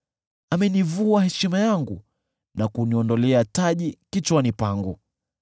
Amenivua heshima yangu, na kuniondolea taji kichwani pangu.